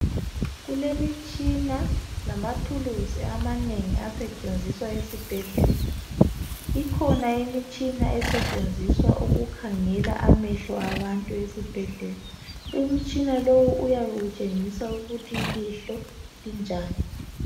Kulemitshina lamathuluzi amanengi asetshenziswa esibhedlela ikhona imitshina esetshenziswa ukukhangela amehlo abantu esibhedlela umitshina lowu uyabe utshengisa ukuthi ilihlo linjani.